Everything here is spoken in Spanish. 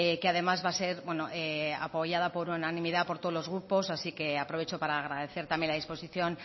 que además va a ser apoyada por unanimidad por todos los grupos así que aprovecho para agradecer también la disposición